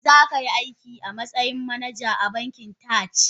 Zakai aiki a matsayin manaja a bankin Taj?